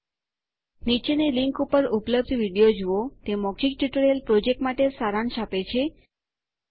નીચેની લીંક પર ઉપલબ્ધ વિડીયો જુઓ httpspoken tutorialorgWhat is a Spoken Tutorial તે મૌખિક ટ્યુટોરીયલ પ્રોજેક્ટ માટે સારાંશ આપે છે